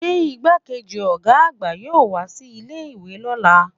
se igbákejì oga àgbà yọọ wa si ilé ìwé lọla?